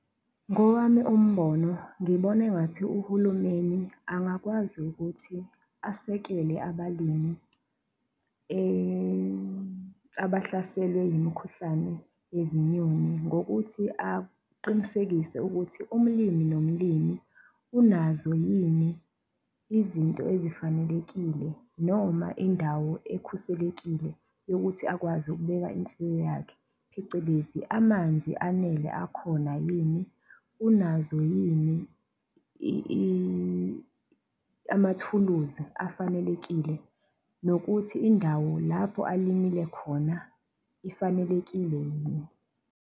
Ngowami umbono ngibona engathi uhulumeni angakwazi ukuthi asekele abalimi, abahlaselwe yimikhuhlane yezinyoni ngokuthi aqinisekise ukuthi ulimi nolimi unazo yini izinto ezifanelelekile noma indawo ekhuselekile yokuthi akwazi ukubeka imfuyo yakhe, phecelezi amanzi anele akhona yini, unazo yini amathuluzi afanelekile nokuthi indawo lapho alimile khona ifanelekile yini.